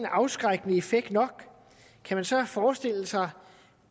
afskrækkende effekt kan man så forestille sig